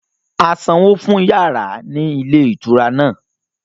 A sanwó fún yàrá ní ilé ìtura náà